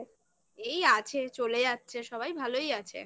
এই আছে চলে যাচ্ছে সবাই ভালোই আছে